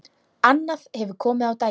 Annað hefur komið á daginn.